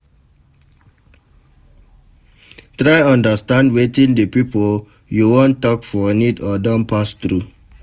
Try understand wetin di pipo you won talk for need or don pass through